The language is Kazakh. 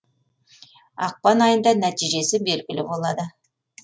ақпан айында нәтижесі белгілі болады